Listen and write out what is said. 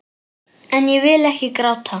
En ég vil ekki gráta.